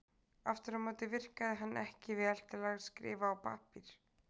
Aftur á móti virkaði hann ekki vel til að skrifa á pappír.